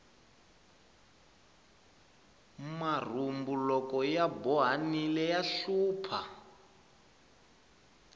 marhumbu loko ya bohanile ya hlupha